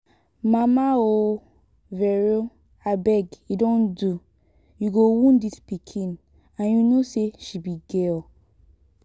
mama um vero abeg e don do you go wound dis pikin and you know say she be girl